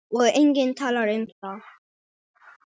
Og enginn talar um það!